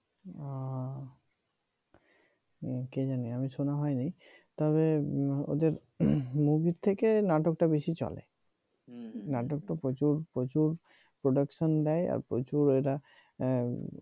ও কে জানে আমি শোনা হয়নি তবে ওদের movie থেকে নাটকটা বেশি চলে নাটক তো প্রচুর প্রচুর production দেয় আর প্রচুর ওরা হ্যাঁ